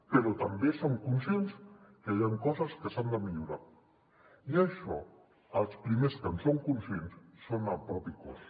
però també som conscients que hi han coses que s’han de millorar i d’això els primers que en són conscients són el propi cos